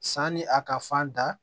Sanni a ka fan da